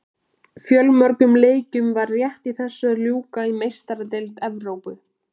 Fjölmörgum leikjum var rétt í þessu að ljúka í Meistaradeild Evrópu.